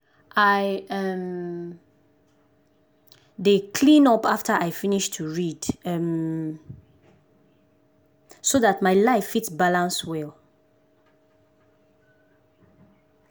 i um dey cleean up after i finish to read um so dat my life fit balance well.